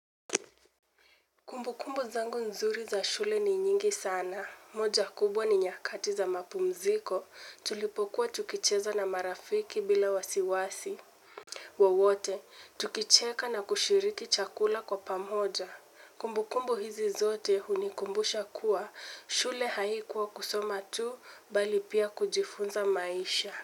Kumbukumbu zangu nzuri za shule ni nyingi sana. Moja kubwa ni nyakati za mapumziko. Tulipokuwa tukicheza na marafiki bila wasiwasi. Wowote tukicheka na kushiriki chakula kwa pamoja kumbukumbu hizi zote hunikumbusha kuwa shule haikuwa kusoma tu bali pia kujifunza maisha.